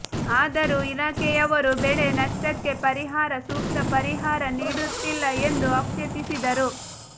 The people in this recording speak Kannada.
ಆದರೂ ಇಲಾಖೆಯವರು ಬೆಳೆ ನಷ್ಟಕ್ಕೆ ಪರಿಹಾರ ಸೂಕ್ತ ಪರಿಹಾರ ನೀಡುತ್ತಿಲ್ಲ ಎಂದು ಆಕ್ಷೇಪಿಸಿದರು